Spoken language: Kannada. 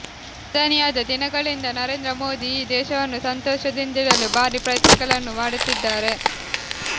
ಪ್ರಧಾನಿಯಾದ ದಿನಗಳಿಂದ ನರೇಂದ್ರ ಮೋದಿ ಈ ದೇಶವನ್ನು ಸಂತೋಷದಿಂದಿಡಲು ಭಾರೀ ಪ್ರಯತ್ನಗಳನ್ನು ಮಾಡುತ್ತಿದ್ದಾರೆ